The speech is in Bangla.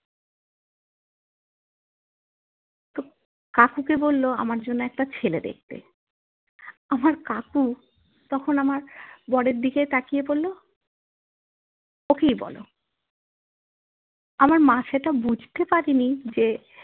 কাকুকে বললো আমার জন্যে একটা ছেলে দেখতে আমার কাকু তখন আমার বরের দিকে তাকিয়ে বললো ওকেই বোলো আমার মা সেটা বুঝতে পারেনি যে